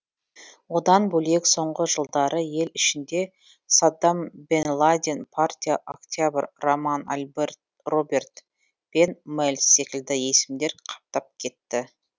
одан бөлек соңғы жылдары ел ішінде саддам бен ладен партия октябрь роман альберт роберт пен мэльс секілді есімдер қаптап кетті